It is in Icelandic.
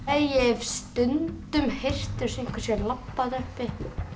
ég hef stundum heyrt eins og einhver sé að labba þarna uppi